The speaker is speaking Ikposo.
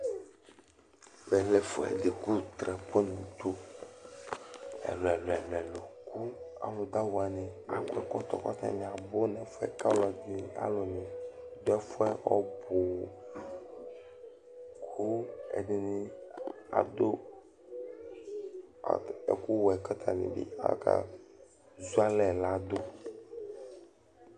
Ɛvɛ lɛ ɛfʋɛdi kʋ drapeau ni dʋ ɛlʋ ɛlʋ ɛlʋ ɛlʋ kʋ alʋ dʋ awʋ wani akɔ ɛkɔtɔ k'atani abʋ n'ɛfuɛ k''alʋni dʋ ɛfʋɛ ɔɔbʋʋ kʋ ɛdini, adʋ ɛkʋ wɛ k'atani bi aka zualɛ ladʋ